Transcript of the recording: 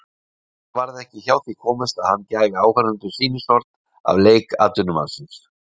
Samt varð ekki hjá því komist að hann gæfi áheyrendum sýnishorn af leik atvinnumannsins.